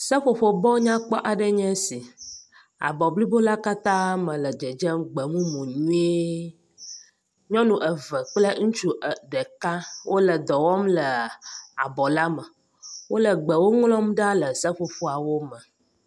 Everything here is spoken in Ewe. Seƒoƒo bɔ nyakpɔ aɖe nye esi, abɔ blibo la katãã me le dzedzem gbemumu nyuie. Nyɔnu eve kple ŋutsu ɖeka wole dɔ wɔm le abɔ la me. Wole gbewo ŋlɔm ɖa le seƒoƒoawo me.